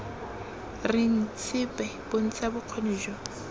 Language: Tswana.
reng sepe bontsha bokgoni jo